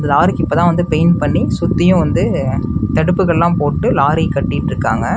லாரிக்கு இப்பதா வந்து பெயிண்ட் பண்ணி சுத்தியு வந்து தடுப்புகள்லா போட்டு லாரி கட்டிட்ருக்காங்க.